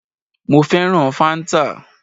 Mo fẹ́ràn fáńtà